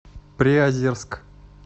приозерск